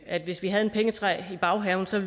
at hvis vi havde et pengetræ i baghaven så